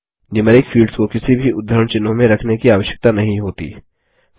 numeric fields को किसी भी उद्धरण चिह्नों में रखने की आवश्यकता नहीं होती